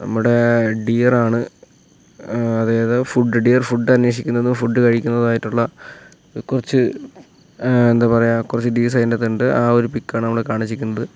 നമ്മടെ ഡിയറാണ് ഏഹ് അതായത് ഫുഡ് ഡിയർ ഫുഡ് അനേഷിക്കുന്നത് ഫുഡ് കഴിക്കുന്നതായിട്ടുള്ള കുറച്ച് ഏഹ് എന്താ പറയാ കുറച്ച് ഡിയർസ് അതിൻ്റകത്തിണ്ട് ആ ഒരു പിക്കാണ് നമ്മളെ കാണിച്ചിക്ക്ണ്ത്.